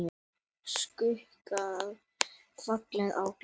Skuggar falla á glugga.